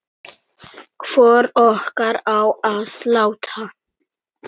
Hvor okkar á að láta